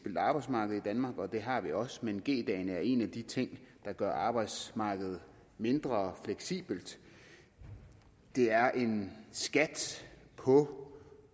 arbejdsmarked i danmark og det har vi også men g dagene er en af de ting der gør arbejdsmarkedet mindre fleksibelt det er en skat på